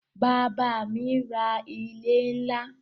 Bàbá à mí ra ilẹ̀ ńlá